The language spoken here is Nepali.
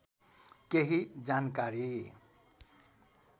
केही जानकारी